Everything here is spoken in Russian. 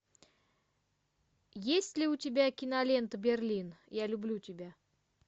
есть ли у тебя кинолента берлин я люблю тебя